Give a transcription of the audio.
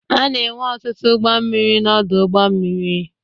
A na-enwe ọtụtụ ụgbọ mmiri n'ọdụ ụgbọ mmiri.